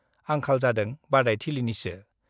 आंखाल जादों बादायथिलिनिसो।